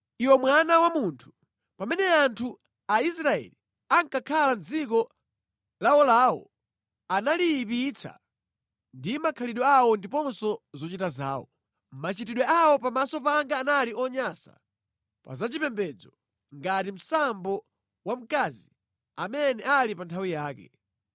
“Iwe mwana wa munthu, pamene anthu a Israeli ankakhala mʼdziko lawolawo, analiyipitsa ndi makhalidwe awo ndiponso zochita zawo. Machitidwe awo pamaso panga anali onyansa pa zachipembedzo ngati msambo wa mkazi amene ali pa nthawi yake.